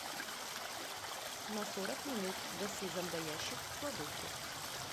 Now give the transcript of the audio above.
на сорок минут гаси зомбоящик в кладовке